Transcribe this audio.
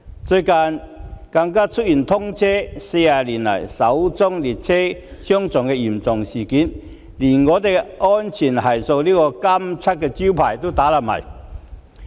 最近更出現通車40年以來首宗列車相撞的嚴重事故，連"安全系數"這個金漆招牌也打破了。